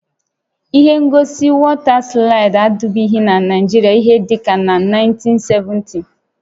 Ihe ngosi wọta slaịdị adịbụghị na Naịjirịa ihé dịka na 1970